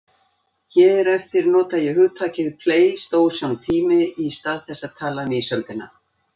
Hér eftir nota ég hugtakið pleistósentími í stað þess að tala um ísöldina.